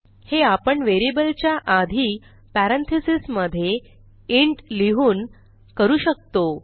हे आपण व्हेरिएबलच्या आधी पॅरेंथीसेस मधे इंट लिहून करू शकतो